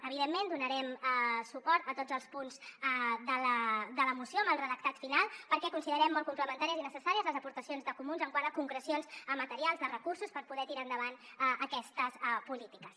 evidentment donarem suport a tots els punts de la moció amb el redactat final perquè considerem molt complementàries i necessàries les aportacions dels comuns quant a concrecions materials de recursos per poder tirar endavant aquestes polítiques